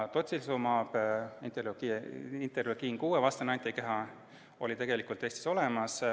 Tocilizumab, interleukiin-6 vastane antikeha, oli tegelikult Eestis olemas.